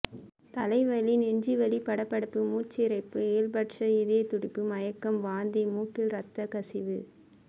தலைவலி நெஞ்சு வலி படபடப்பு மூச்சிரைப்பு இயல்பற்ற இதயத்துடிப்பு மயக்கம் வாந்தி மூக்கில் இரத்தக் கசிவு